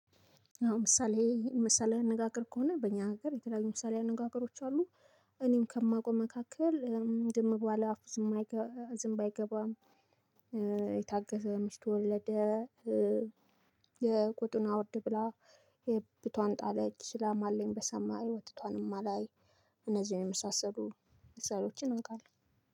አሁን ምሳሌ ምሳሌአዊ አነጋገር ከሆነ በእኛ ሀገር የተለያዩ ምሳሌ አነጋገሮች አሉ። እኔም ከማውቀው መካከል ዝም ባለ አፍ ዝምብ አይገባም። የታገሰ ከሚስቱ ወለደ። የቆጡን አውርድ ብላ። የብብቷን ጣለች ላምአለኝ በሰማይ ወተቶንም አላይ። እነዚህን የመሳሰሉ ምሳሌወችን አውቃለሁ።